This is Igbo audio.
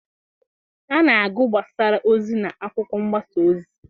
A na-agụ gbasara ozi n'akwụkwọ mgbasa ozi